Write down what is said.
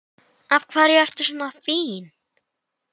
Af hverju ertu svona fín?